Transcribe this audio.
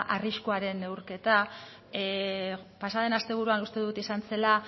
arriskuaren neurketa pasaden asteburuan uste dut izan zela